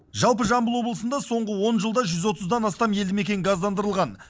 жалпы жамбыл облысында соңғы он жылда жүз отыздан астам елді мекен газдандырылған